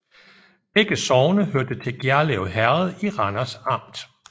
Begge sogne hørte til Gjerlev Herred i Randers Amt